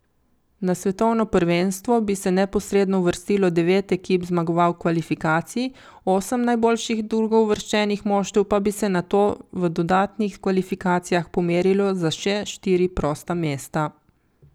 Na svetovno prvenstvo bi se neposredno uvrstilo devet ekip zmagovalk kvalifikacij, osem najboljših drugouvrščenih moštev pa bi se nato v dodatnih kvalifikacijah pomerilo za še štiri prosta mesta.